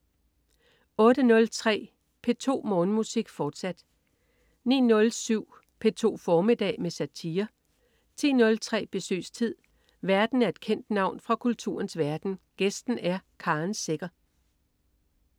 08.03 P2 Morgenmusik, fortsat 09.07 P2 formiddag med satire 10.03 Besøgstid. Værten er et kendt navn fra kulturens verden, gæsten er Karen Secher